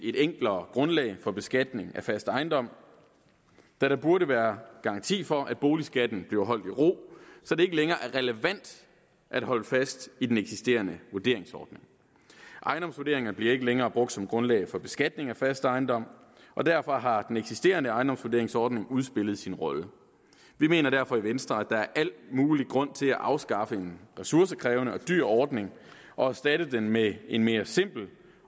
et enklere grundlag for beskatning af fast ejendom da der burde være garanti for at boligskatten bliver holdt i ro så det ikke længere er relevant at holde fast i den eksisterende vurderingsordning ejendomsvurderinger bliver ikke længere brugt som grundlag for beskatning af fast ejendom og derfor har den eksisterende ejendomsvurderingsordning udspillet sin rolle vi mener derfor i venstre at der er al mulig grund til at afskaffe en ressourcekrævende og dyr ordning og erstatte den med en mere simpel